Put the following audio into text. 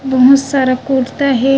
बहुत सारा कुरता हे।